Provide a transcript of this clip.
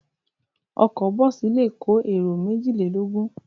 Ọkọ̀ bọ́ọ́sì le kó èrò méjìlélógún.